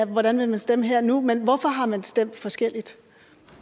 hvordan man vil stemme her og nu men hvorfor har man stemt forskelligt